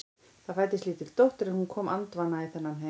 Það fæddist lítil dóttir en hún kom andvana í þennan heim.